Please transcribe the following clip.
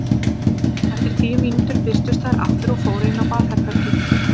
Eftir tíu mínútur birtust þær aftur og fóru inn á baðherbergið.